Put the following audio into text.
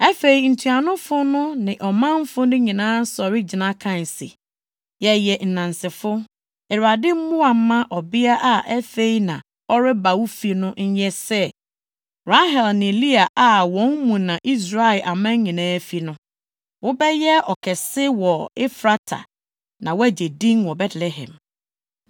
Afei, ntuanofo no ne ɔmanfo no nyinaa sɔre gyina kae se, “Yɛyɛ nnansefo! Awurade mmoa mma ɔbea a afei na ɔreba wo fi no nyɛ sɛ Rahel ne Lea + 4.11 Israelfo nyinaa ase fi Rahel ne Lea mu. Saa ara na Dawid ne Agyenkwa no yɛ Rut asefo. a wɔn mu na Israel aman nyinaa fi no. Wobɛyɛ ɔkɛse wɔ Efrata na woagye din wɔ Betlehem.